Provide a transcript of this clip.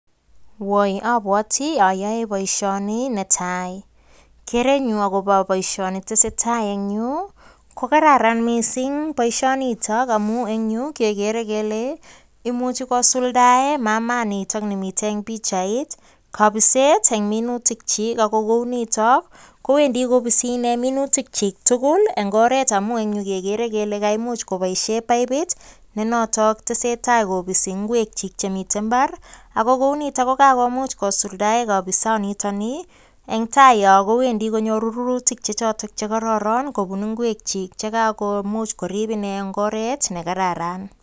Woi, abwoti ayoe boisioni netai. Kerenyu agobo boisioni tesetai eng yu, ko kararan missing boisionito amu eng yu, kegere kele imuchi kosuldae mamaa nitok nemite eng pichait, kabiset eng minutik chi. Ago kounito, kowendi kobisi inee minutik chi tugul eng oret amu eng yu kegere kele kaimuch koboisie paipit, ne notok tesetai kobisi ngwek chi chemite mbar. Ago kounitok ko kagomuch kosuldae kabisonitok ni, eng tai yo kowendi konyoru rurutik che chotok che kororon, kobun ingwek chi che kagomuch korib ine eng oret ne kararan,